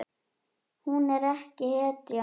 Hún er ekki hetja.